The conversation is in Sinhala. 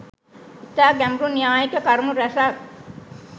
ඉතා ගැඹුරු න්‍යායික කරුණු රැසක්